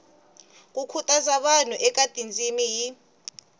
khutaza vanhu eka tindzimi hi